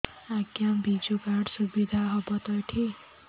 ଆଜ୍ଞା ବିଜୁ କାର୍ଡ ସୁବିଧା ହବ ତ ଏଠି